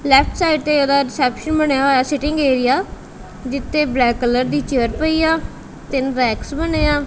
Left side ਤੇ ਉਹਦਾ reception ਬਣਿਆ ਹੋਇਆ ਸਿਟਿੰਗ ਏਰੀਆ ਜਿਤੇ ਬਲੈਕ ਕਲਰ ਦੀ ਚੇਅਰ ਪਈ ਆ ਤਿੰਨ ਰੈਕਸ ਬਣੇ ਆ।